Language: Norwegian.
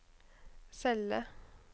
celle